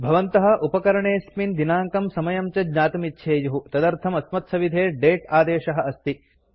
भवन्तः उपकरणे॓स्मिन् दिनाङ्कं समयं च ज्ञातुमिच्छेयुः तदर्थं अस्मत्सविधे दते आदेशः अस्ति